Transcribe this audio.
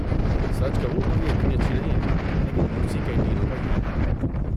سچ کہوں تو یہ اتنی اچھی نہیں ہے، لیکن بہت سی کینٹینوں کا یہی حال ہے۔